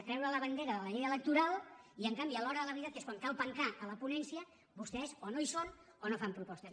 treure la bandera de la llei electoral i en canvi a l’hora de la veritat que és quan cal pencar a la ponència vostès o no hi són o no fan propostes